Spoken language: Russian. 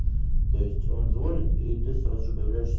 то есть он звонит и ты сразу же появляешься